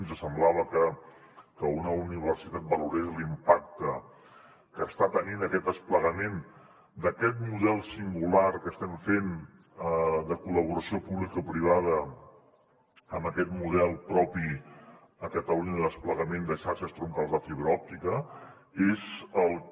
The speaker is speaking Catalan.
ens semblava que que una universitat valorés l’impacte que està tenint aquest desplegament d’aquest model singular que estem fent de col·laboració publicoprivada amb aquest model propi a catalunya de desplegament de xarxes troncals de fibra òptica és el que